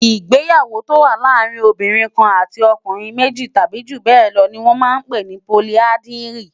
Igbéyàwó tó wà làárin óbìrín kán àtí òkúnrin méji tàbi júbèlò ni wòn mà n pé ni pólìàndrí